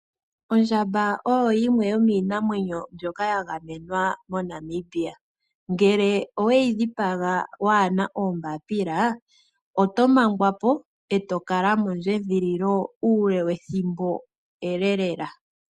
Ondjamba oyo yimwe yomiinamwenyo mbyoka ya gamenwa moNamibia. Ngele oweyi dhipaga waana oombaapila oto mangwa po eto kala mondjedhililo uule wethimbo ele lela.